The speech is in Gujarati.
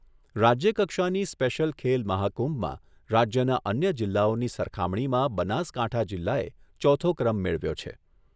રાજ્યકક્ષાની સ્પેશ્યલ ખેલ મહાકુંભમાં રાજ્યના અન્ય જિલ્લાઓની સરખામણીમાં બનાસકાંઠા જિલ્લાએ ચોથો ક્રમ મેળવ્યો છે.